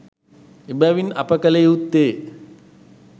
එබැවින් අප කළ යුත්තේ